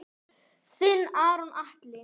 Þinn Aron Atli.